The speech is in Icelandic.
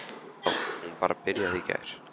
Já, hún bara byrjaði í gær.